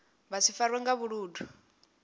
vha si farwe nga vhuludu